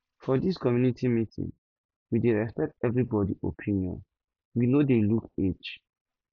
for dis community meeting we dey respect everybodi opinion we no dey look age